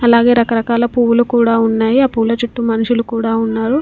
అలాగే రకరకాల పువ్వులు కూడా ఉన్నాయి. ఆ పూల చుట్టూ మనుషులు కూడా ఉన్నారు.